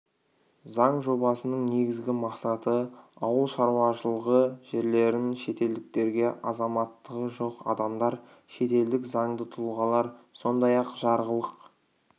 заң жобасының негізгі мақсаты ауыл шаруашылығы жерлерін шетелдіктерге азаматтығы жоқ адамдар шетелдік заңды тұлғалар сондай-ақ жарғылық